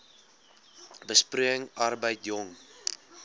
besproeiing arbeid jong